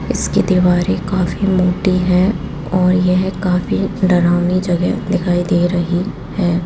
इसकी दीवारें काफी मोटी हैं और यह काफी डरावनी जगह दिखाई दे रही है।